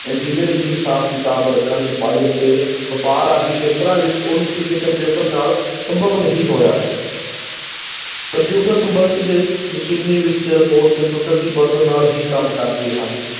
Engineering ਹਿਸਾਬ-ਕਿਤਾਬ ਰੱਖਣ, ਛਪਾਈ ਅਤੇ ਵਪਾਰ ਆਦਿ ਖੇਤਰਾਂ ਵਿੱਚ ਉੱਨਤੀ ਦੇ ਕੰਪਿਊਟਰ ਨਾਲ ਸੰਭਵ ਨਹੀਂ ਹੋਇਆ ਹੈ ਕੰਪਿਊਟਰ ਦੇ ਮਸ਼ੀਨੀ ਵਿੱਚ report ਕੰਪਿਊਟਰ ਦੀ ਮਦਦ ਨਾਲ ਹੀ ਕੰਮ ਕਰਦੇ ਹਨ